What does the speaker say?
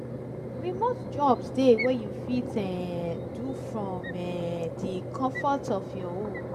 remote jobs de wey you fit um do from um the confort of your home